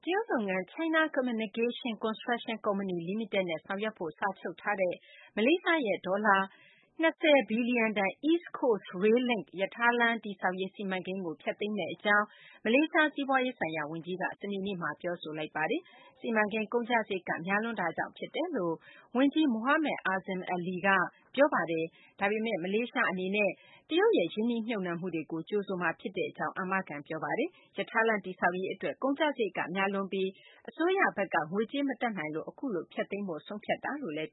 ရုတ် လုပ်ငန်း China Communication Construction ကုမ္ပဏီလီမိတက်နဲ့ ဆောင်ရွက်ဖို့ စာချုပ်ထားတဲ့ မလေးရှားရဲ့ ဒေါ်လာ ၂၀ ဘီလျံတန် East Coast Rail Link ရထားလမ်းတည်ဆောက်ရေး စီမံကိန်းကို ဖျက်သိမ်းမယ့် အကြောင်း မလေးရှား စီးပွားရေးဆိုင်ရာ ဝန်ကြီးက စနေနေ့မှာ ပြောဆိုပါတယ်။ စီမံကိန်း ကုန်ကျစာရိတ်က များလွန်းတာကြောင့် ဖြစ်တယ်လို့ ဝန်ကြီး Mohamed Azmin Ali က ပြောပါတယ်။ ဒါပေမယ့် မလေးရှား အနေနဲ့ တရုတ်ရဲ့ ရင်းနှီးမြှုပ်နှံမှုတွေကို ကြိုဆိုမှာဖြစ်ကြောင်းလည်း အာမခံ ပြောဆိုပါတယ်။ ရထားလမ်း တည်ဆောက်ရေး အတွက် ကုန်ကျစာရိတ်က များလွန်းလှပြီး အစိုးရဘက်က ငွေကြေး မတတ်နိုင်လို့ အခုလို ဖျက်သိမ်းဖို့ ဆုံးဖြတ်တာလို့လည်း